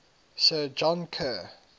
sir john kerr